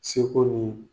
Seko ni